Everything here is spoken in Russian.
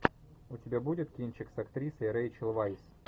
у тебя будет кинчик с актрисой рэйчел вайс